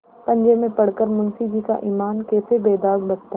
पंजे में पड़ कर मुंशीजी का ईमान कैसे बेदाग बचता